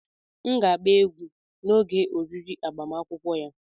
M ga-agba egwu n'oge oriri agbamakwụkwọ ya.